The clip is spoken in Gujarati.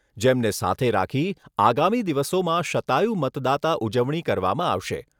જેમને સાથે રાખી આગામી દિવસોમાં શતાયુ મતદાતા ઉજવણી કરવામાં આવશે.